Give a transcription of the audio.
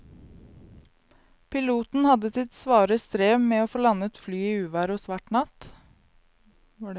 Piloten hadde sitt svare strev med å få landet flyet i uvær og svart natt.